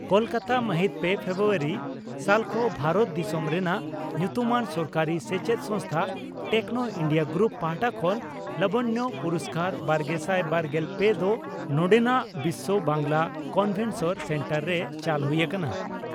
ᱠᱚᱞᱠᱟᱛᱟ ᱢᱟᱦᱤᱛ ᱯᱮ ᱯᱷᱮᱵᱨᱩᱣᱟᱨᱤ (ᱥᱟᱞᱠᱷᱚ) ᱺ ᱵᱷᱟᱨᱚᱛ ᱫᱤᱥᱚᱢ ᱨᱮᱱᱟᱜ ᱧᱩᱛᱩᱢᱟᱱ ᱥᱚᱨᱠᱟᱨᱤ ᱥᱮᱪᱮᱫ ᱥᱚᱝᱥᱛᱷᱟ ᱴᱮᱠᱱᱚ ᱤᱱᱰᱤᱭᱟ ᱜᱨᱩᱯ ᱯᱟᱦᱴᱟ ᱠᱷᱚᱱ ᱞᱟᱵᱚᱱᱭᱚ ᱯᱩᱨᱚᱥᱠᱟᱨᱼᱵᱟᱨᱜᱮᱥᱟᱭ ᱵᱟᱨᱜᱮᱞ ᱯᱮ ᱫᱚ ᱱᱚᱰᱮᱱᱟᱜ ᱵᱤᱥᱭᱚ ᱵᱟᱝᱜᱪᱞᱟ ᱠᱚᱱᱵᱷᱮᱱᱥᱚᱱ ᱥᱮᱱᱴᱟᱨ ᱨᱮ ᱪᱟᱞ ᱦᱩᱭ ᱟᱠᱟᱱᱟ ᱾